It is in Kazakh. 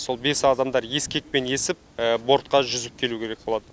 сол бес адамдар ескекпен есіп бортқа жүзіп келу керек болады